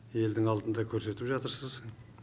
елдің алдында көрсетіп жатырсыз